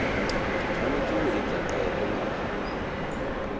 tshwanetse ho etsa qeto mabapi